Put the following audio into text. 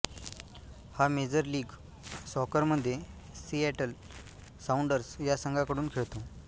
हा major league सॉकरमध्ये Seattle Sounders या संघाकडून खेळतो